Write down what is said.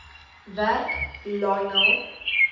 werk lionel